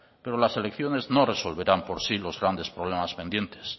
pero las elecciones no resolverán por sí los grandes problemas pendientes